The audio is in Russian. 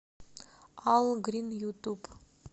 ал грин ютуб